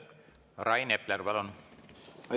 Rain Epler, palun!